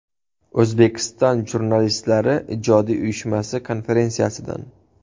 O‘zbekiston Jurnalistlari ijodiy uyushmasi konferensiyasidan.